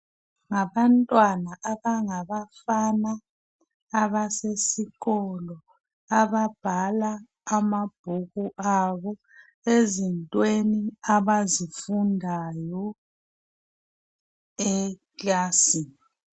Ngabantwana abangabafana abasesikolo, ababhala amabhuku abo, ezintweni abazifundayo ekilasini.